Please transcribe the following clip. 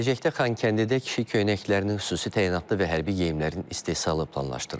Gələcəkdə Xankəndidə kişi köynəklərinin, xüsusi təyinatlı və hərbi geyimlərin istehsalı planlaşdırılır.